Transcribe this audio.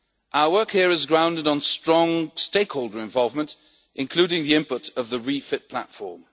Agenda. Our work here is grounded on strong stakeholder involvement, including the input of the